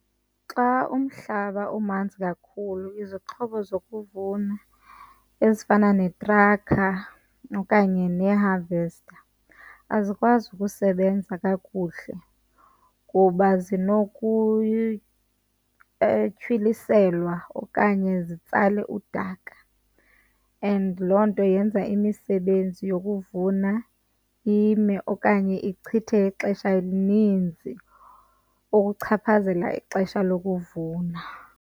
Xa umhlaba umanzi kakhulu izixhobo zokuvuna ezifana neetraka okanye nee-harvest azikwazi ukusebenza kakuhle kuba zinokutyhwiliselwa okanye zitsale udaka, and loo nto yenza imisebenzi yokuvuna ime okanye ichithe ixesha elininzi ukuchaphazela ixesha lokuvuna.